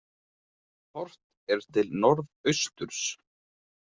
Horft er til norðausturs.